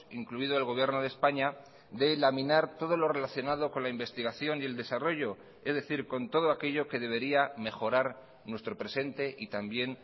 incluido el gobierno de españa de laminar todo lo relacionado con la investigación y el desarrollo es decir con todo aquello que debería mejorar nuestro presente y también